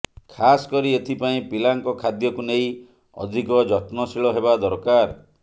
ଖାସ୍ କରି ଏଥିପାଇଁ ପିଲାଙ୍କ ଖାଦ୍ୟକୁ ନେଇ ଅଧିକ ଯତ୍ନଶୀଳ ହେବା ଦରକାର